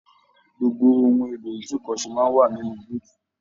Gbogbo ohùn èlò itunkọsè máa n wà nínú búutú.